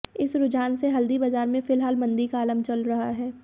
इस रुझान से हल्दी बाजार में फिलहाल मंदी का आलम चल रहा है